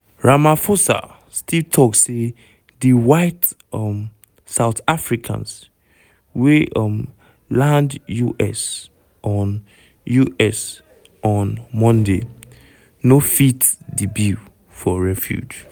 ramaphosa still tok say di white um south africans wey um land us on us on monday "no fit di bill" for refugee.